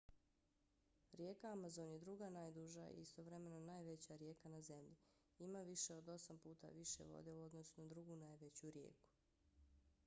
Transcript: rijeka amazon je druga najduža i istovremeno najveća rijeka na zemlji. ima više od osam puta više vode u odnosu na drugu najveću rijeku